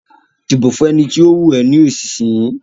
Dìbò fún ẹni tó wù ọ ní ìsìsìyí